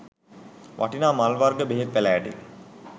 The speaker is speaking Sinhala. වටිනා මල් වර්ග බෙහෙත් පැළෑටි